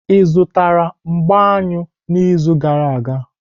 Ị zụtara mgbá aṅụ n'izu gara aga?